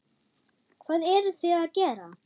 Hvað eruð þið að gera?